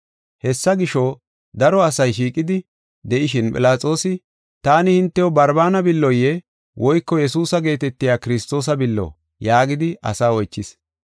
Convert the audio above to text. Hessa gisho, daro asay shiiqidi de7ishin Philaxoosi, “Taani hintew Barbaana billoye woyko Yesuusa geetetiya Kiristoosa billo?” yaagidi asaa oychis.